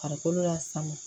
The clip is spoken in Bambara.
Farikolo lasama